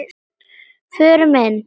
Förum inn.